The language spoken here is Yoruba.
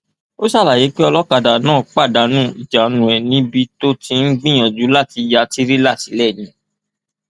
ó ṣàlàyé pé olókàdá náà pàdánù ìjánu ẹ níbi tó ti ń gbìyànjú láti ya tirẹla sílẹ ni